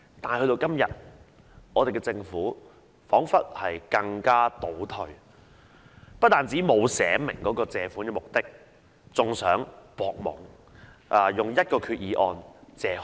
但到了今天，政府彷彿倒退了，不單沒有註明借款目的，還想蒙混過關，以一項決議案多次借款。